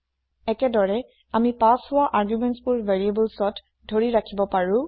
একেদৰে আমি পাচ হোৱা আৰ্গুমেণ্টছ বোৰ variablesত ধৰি ৰাখিব পাৰো